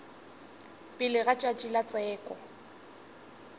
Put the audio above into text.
pele ga tšatši la tsheko